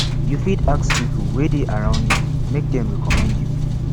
you fit ask pipo wey de around you make dem reccomend you